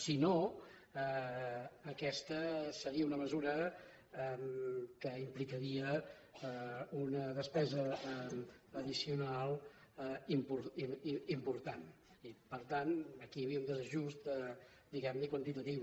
si no aquesta seria una mesura que implicaria una despesa addicional important i per tant aquí hi havia un desajust diguem ne quantitatiu